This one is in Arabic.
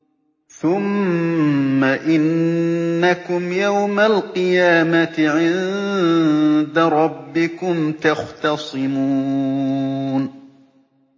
ثُمَّ إِنَّكُمْ يَوْمَ الْقِيَامَةِ عِندَ رَبِّكُمْ تَخْتَصِمُونَ